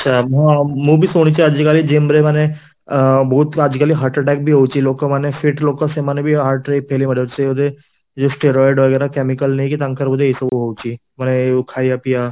ଆଛା , ମୁଁ ବି ଶୁଣିଚି ଆଜି କାଲି gym ରେ ମାନେ ଅ ବହୁତ ଆଜି କାଲି ହାର୍ଟ attack ହଉଚି ଲୋକ ମାନେ fit ଲୋକ ସେମାନେ ବି ହାର୍ଟ ରେ fail ମାରିଯାଉଛନ୍ତି ସେମାନେ ବି ଏଇ ଯୋଉ steroid chemical ନେଇକି ତାଙ୍କର ଏଇ ସବୁ ହଉଚି ମାନେ ଖାଇବା ପିଇବା